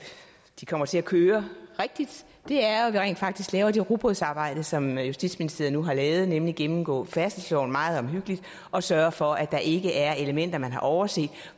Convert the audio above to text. de kommer til at køre rigtigt er at vi rent faktisk laver det rugbrødsarbejde som justitsministeriet nu har lavet nemlig at gennemgå færdselsloven meget omhyggeligt og sørge for at der ikke er elementer man har overset